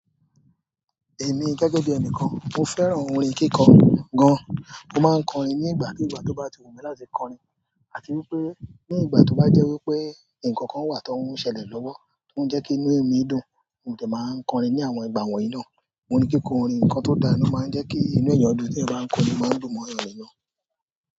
Èmi gẹ́gẹ́ bí ẹnìkan, mo fẹ́ràn orin kíkọ gan-an. Mo máa ń kọrin ní ìgbàkíìgbà tó bá ti wù mí láti kọrin àti wípé ní ìgbà tó bá jẹ́ wípé ǹkan kan wà tóún ṣẹlẹ̀ lọ́wọ́, tó ń jẹ́ kí inú èmi dùn, mo sì máa ń kọrin ní àwọn ìgbà wọ̀nyí náà. Òun ni kíkọ orin, nǹkan tó dáa ni, ó máa ń jẹ́ kí inú èèyàn dùn téèyàn bá ń kọrin, ó máa ń dùn mọ́'yàn nínú.